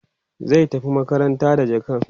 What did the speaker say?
zai tafi makaranta da jakan